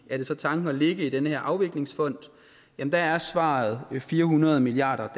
det så tanken at lægge i den her afviklingsfond der er svaret fire hundrede milliard